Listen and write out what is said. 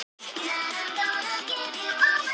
Það var bara núna eða ekki